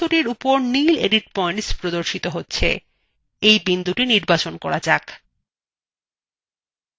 বস্তুটির উপর নীল edit পয়েন্টস প্রদর্শিত হছে এই বিন্দুটি নির্বাচন করা যাক